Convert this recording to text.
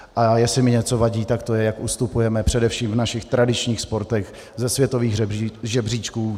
A jestli mi něco vadí, tak to je, jak ustupujeme především v našich tradičních sportech ze světových žebříčků.